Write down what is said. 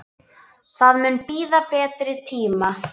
Það mun bíða betri tíma.